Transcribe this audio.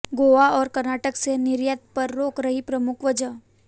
गोवा और कर्नाटक से निर्यात पर रोक रही प्रमुख वजह